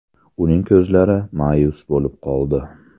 Uning ko‘zlari ma’yus bo‘lib qoldi.